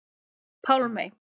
Pálmey